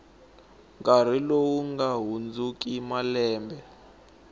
nkarhi lowu nga hundziki malembe